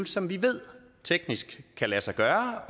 som vi ved teknisk kan lade sig gøre